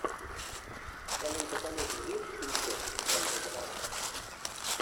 в твоем каталоге есть кинцо жанра драма